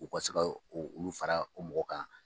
U ka se ka o olu fara o mɔgɔ kan.